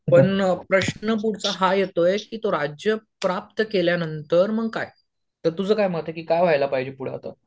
पण प्रश्न पुढचा हा येतोय की तो राज्य प्राप्त केल्यानंतर मग काय? तर तुझं काय मत आहे की काय व्हायला पाहिजे पुढं आता?